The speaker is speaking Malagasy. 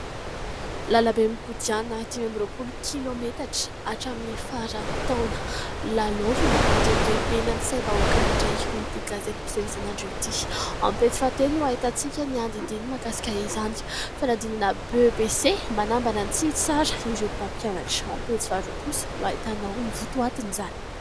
Lalambe mikodana dimy amby roapolo kilômetatra hatramin'ny faran'ny taona, lalaovina andrebirebena ny saim-bahoaka indray hoy ity gazety mpiseo isan'andro ity, ao amin'ny pejy faatelo no hahitantsika ny andinindininy makasika izany, fanadinana BEPC : manambana ny tsy hitsara ireo mpampianatra, ao amin'ny pejy faaroa kosa no hahitanaho ny votoatin' izany.